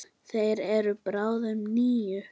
Þeir eru báðir níu.